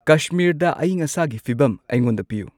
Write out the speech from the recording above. ꯀꯁꯃꯤꯔꯗ ꯑꯏꯪ ꯑꯁꯥꯒꯤ ꯐꯤꯕꯝ ꯑꯩꯉꯣꯟꯗ ꯄꯤꯌꯨ